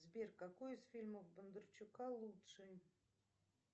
сбер какой из фильмов бондарчука лучший